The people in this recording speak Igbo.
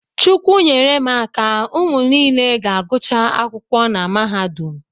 Chukwu nyere m aka, ụmụ niile ga-agụcha akwụkwọ na mahadum